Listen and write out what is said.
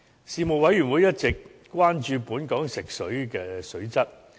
事務委員會一直關注本港食水的水質。